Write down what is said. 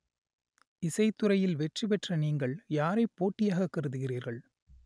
இசைத்துறையில் வெற்றி பெற்ற நீங்கள் யாரை போட்டியாக கருதுகிறீர்கள்